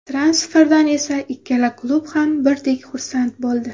Transferdan esa ikkala klub ham birdek xursand bo‘ldi.